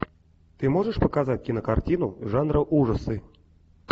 ты можешь показать кинокартину жанра ужасы